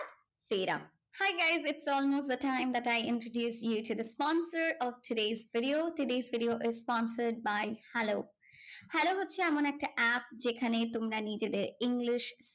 ফেরা। hey guys it is all knows the time that I introduce due to sponsor of todays video. todays video is sponsored by Hello. Hello হচ্ছে এমন একটা app যেখানে তোমরা নিজেদের English